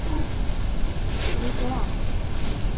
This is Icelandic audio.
Lítið á hann!